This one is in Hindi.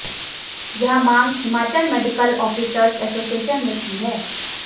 यह मांग हिमाचल मेडिकल आफिसर्ज एसोसिएशन ने की है